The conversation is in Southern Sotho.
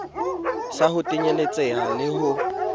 sa ho tenyetseha le ho